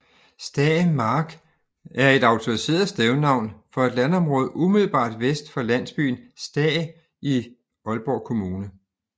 Stae Mark er et autoriseret stednavn for et landområde umiddelbart vest for landsbyen Stae i Aalborg Kommune